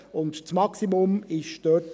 Das Maximum liegt dort bei 16 000 Franken.